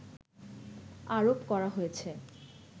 আরোপ করা হয়েছে